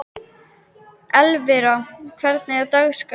Elvira, hvernig er dagskráin?